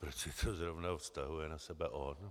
Proč si to zrovna vztahuje na sebe on?